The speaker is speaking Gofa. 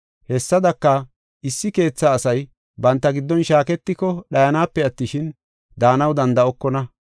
Hessadaka, issi keetha asay banta giddon shaaketiko dhayanape attishin, daanaw danda7okona.